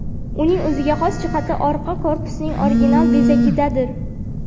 Uning o‘ziga xos jihati orqa korpusining original bezagidadir.